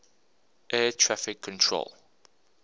air traffic control